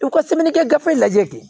U ka sɛbɛnnikɛ gafe lajɛ